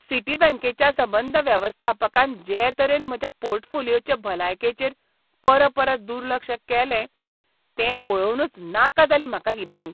सिटीबँकेच्या संबंद वेवस्थापकान जे तरेन म्हज्या पोर्टफोलिओचे भलायकेचेर परपरत दुर्लक्ष केलें, तें पळोवनच नाका जाली म्हाका ही बँक.